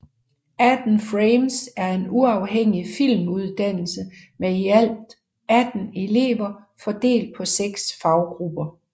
18 FRAMES er en uafhængig filmuddannelse med i alt 18 elever fordelt på seks faggrupper